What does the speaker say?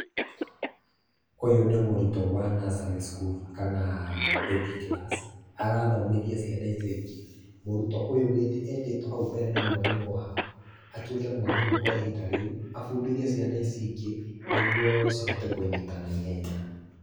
Ũyũ nĩ mũrutũo wa nursery school kana [cs [baby class. Arathomithia ciana icio ingĩ. Mũrutũo ũyũ etĩtũo hau mbere nĩ mwarimũ wao, atuĩke mwarimũ kwa ihinda rĩu, abundithie ciana ici ingĩ nĩguo cihote kũnyita naihenya.